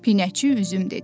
Pinəçi üzüm dedi.